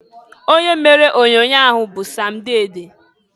Onye mere onyoonyoo ahụ bụ Sam Dede.